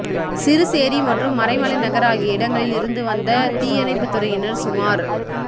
சிறுசேரி மற்றும் மறைமலைநகர் ஆகிய இடங்களில் இருந்து வந்த தீயணைப்புத்துறையினர் சுமார்